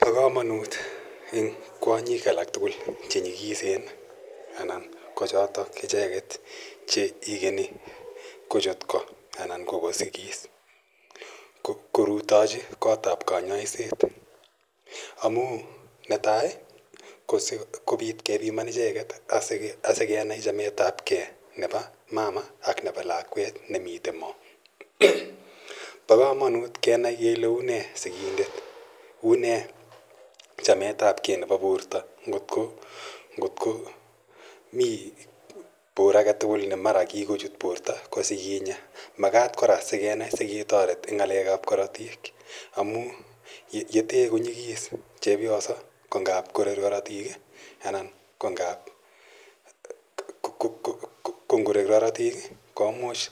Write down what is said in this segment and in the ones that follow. Pa kamanut eng' kwonyik alak tugul che nyikisen anan ko chotok icheget che ikeni kochut ko anan ko kosigis korutachi kot ap kanyaiset amu netai ,ko siko pit kepiman icheget asike nai chametapgei nepo mama ak lakwet ne mitei mo. Pa kamanut kenai kele une sikindet, une chametapge nepo porto. Ngotko mi por age tugul ne mara kikochut porto ko si kinya. Makat kora si kenai, si ketaret eng' ng'alek ap karatik amu ye te konyigis chepyoso ko ngap korer karatiik anan ko ngap ngorer karatiik i, komuch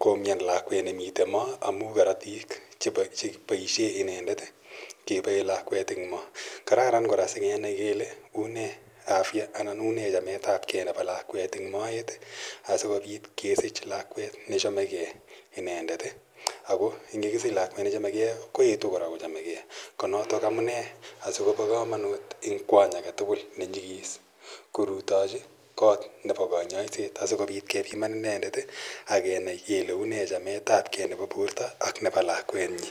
koumian lakwet ne mitei mo amu karatik che paishe inendet kepae lakwet eng' mo. Kararan kora asikenai kele une afya anan une chametapge nepo lakwet eng' moet asikopit kesich lakwet ne chamegei inendet. Ako ang' te kakisich lakwet ne chamegei koetu kora ko chamegei. Ko notok amune asiko pa kamanut eng' kwony age tugul ne nyigis korutachi kot nepa kanyaiset asikopit kepiman inendet ak kenai kele une chametapge nepo porto ak nepo lakwenyi.